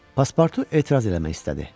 Paspartu etiraz eləmək istədi.